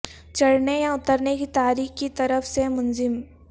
چڑھنے یا اترنے کی تاریخ کی طرف سے منظم